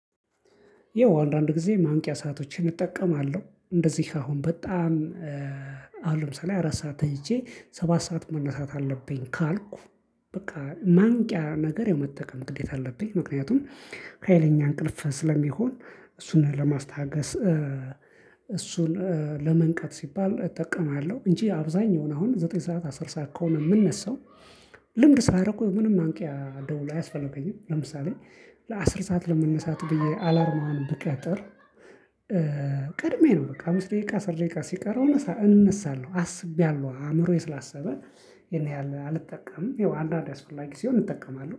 ያው አንዳንድ ጊዜ ማንቂያ ሰአቶችን እጠቀማለሁ እንደዚህ አሁን በጣም አሁን ለምሳሌ አራት ሰዓት ተይቼ ሰባት ሰዓት መነሳት አለብኝ ካልኩ በቃ ማንቂያ ነገር የምጠቀም ግዴታ አለብኝ ምክንያቱም ሀይለኛ እንቅልፍ ስለሚሆን እሱን ለማስታገስ እሱን ለመንቀፍ ሲባል እጠቀማለሁ። እንጂ አብዛኛው አሁን ዘጠኝ ሰዓት አስር ሰዓት ከሆነ የምነሳው ልምድ ሳያደረጉ ምንም አንቂ ደወል አያስፈልገኝም። ለምሳሌ ለአስር ሰዓት ለመነሳት ብዬ አላርሙን ብቀጥር ቀድሜ ነው በቃ አምስት ደቂቃ አስር ደቂቃ ሲቀረው እነሳ እነሳለሁ። አስቤያለሁ አእምሮዬ ስላሰበ ይሄን ያህል አልጠቀምም። ያው አንዳንዴ አስፈላጊ ሲሆን እጠቀማለሁ